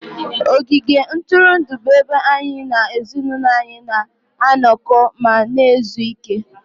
ogige ntụrụndụ bụ ebe anyị na ezinụlọ anyị na-anọkọ ma na-ezu ike